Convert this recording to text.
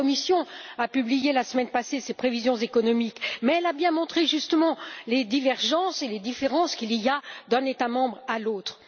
La Commission a publié la semaine passée ses prévisions économiques, mais elle a bien montré, justement, les divergences et les différences qu'il y a d'un État membre à l'autre.